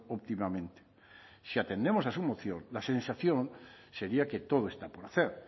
óptimamente si atendemos a su moción la sensación sería que todo está por hacer